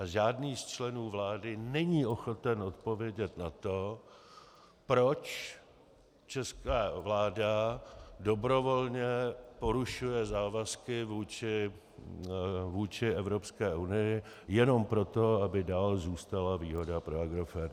A žádný z členů vlády není ochoten odpovědět na to, proč česká vláda dobrovolně porušuje závazky vůči Evropské unii jenom proto, aby dál zůstala výhoda pro Agrofert.